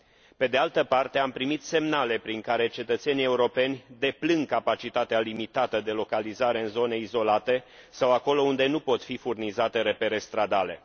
Pe de altă parte, am primit semnale prin care cetățenii europeni deplâng capacitatea limitată de localizare în zone izolate sau acolo unde nu pot fi furnizate repere stradale.